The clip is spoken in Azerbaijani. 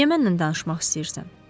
Niyə mənlə danışmaq istəyirsən?